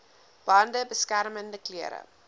bande beskermende klere